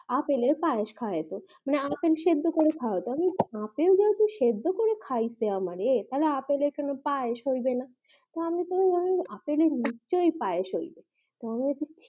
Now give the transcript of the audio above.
apple আর পায়েস খাওতো মানে আপেল সেদ্দ করে খওয়া তো আমি আপেল যদি সেদ্দ করে খাইছে আমারে তা আপেল এর সঙ্গে পায়েস হইবে না তো আমি ভাবলাম আপেল এর নিশ্চই পায়েস হইবো